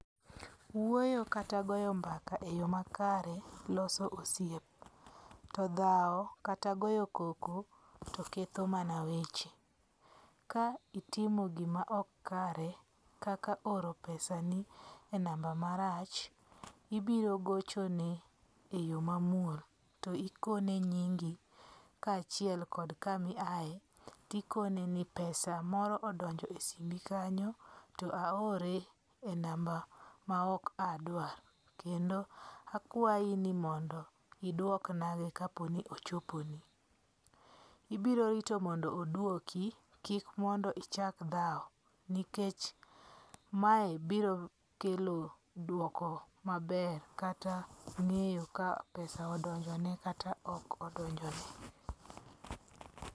Wuoyo kata goyo mbaka e yo makare loso osiep. To dhawo kata goyo koko to ketho mana weche. Ka itimo gima ok kare kaka oro pesani e namba marach ibirogochone e yo mamuol to ikone nyingi ka achiel kod kama iaye tikone ni pesa moro odonje e simbi kanyo to aore e namba ma ok adawar. Kendo akwayi ni mondo idwoknagi ka po ni ochoponi. Ibiro rito mondo oduoki. Kik mondo ichak dhawo nikech mae biro kelo dwoko maber kata ng'eyo ka pesa odonjo ne kata ok odonjone.